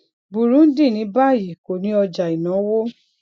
burundi ní báyìí kò ní ọjà ìnáwó